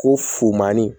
Ko fumanni